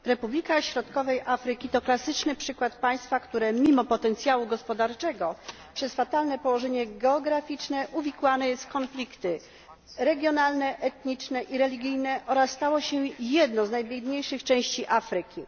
Panie Przewodniczący! Republika Środkowej Afryki to klasyczny przykład państwa, które mimo potencjału gospodarczego ze względu na fatalne położenie geograficzne uwikłane jest w konflikty regionalne, etniczne i religijne oraz stało się jedną z najbiedniejszych części Afryki.